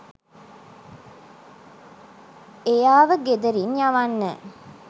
එයාව ගෙදරින් යවන්න.